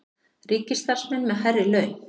Ríkisstarfsmenn með hærri laun